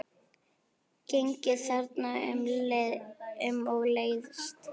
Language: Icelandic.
Gengið þarna um og leiðst.